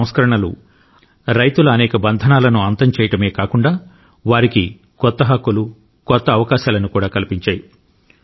ఈ సంస్కరణలు రైతుల అనేక బంధనాలను అంతం చేయడమే కాకుండా వారికి కొత్త హక్కులు కొత్త అవకాశాలను కూడా కల్పించాయి